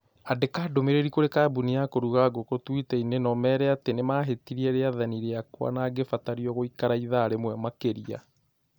Andĩka ndũmĩrĩri kũrĩ kambũni ya kũruga ngũkũ twitter inĩ na ũmeera atĩ nĩ mahĩtirie rĩathani rĩakwa na ngĩbatario gũikara ithaa rĩmwe makĩria.